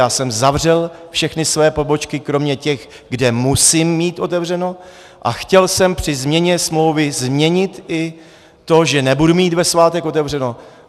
Já jsem zavřel všechny svoje pobočky kromě těch, kde musím mít otevřené, a chtěl jsem při změně smlouvy změnit i to, že nebudu mít ve svátek otevřeno.